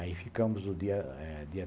Aí ficamos o dia eh dia